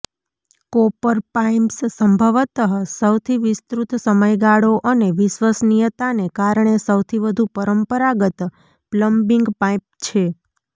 copper pipes સંભવતઃ સૌથી વિસ્તૃત સમયગાળો અને વિશ્વસનીયતાને કારણે સૌથી વધુ પરંપરાગત પ્લમ્બિંગ પાઇપ છે